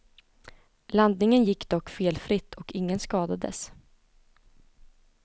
Landningen gick dock felfritt och ingen skadades.